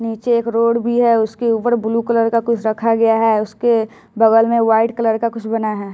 नीचे एक रोड भी है उसके उपर ब्लू कलर का कुछ रखा गया है उसके बगल में व्हाइट कलर का कुछ बना है।